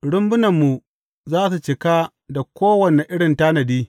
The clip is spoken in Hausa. Rumbunanmu za su cika da kowane irin tanadi.